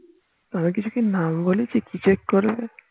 আমি কিছু কি নাম বলিছি কি check করো